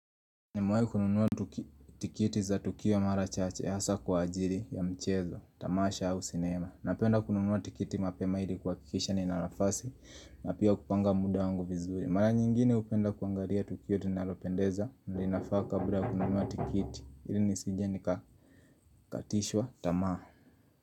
Nimewai kununua tikiti za tukio mara chache hasa kwa ajili ya mchezo, tamasha au sinema. Napenda kununua tikiti mapema ili kuhakikisha nina nafasi na pia kupanga muda wangu vizuri. Mara nyingine hupenda kuangalia tukio linalopendeza na inafaa kabla kununuwa tikiti ili nisije nikakatishwa, tamaa.